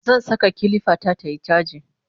zan Saka kilifa ta tayi chaji